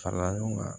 Fara ɲɔgɔn kan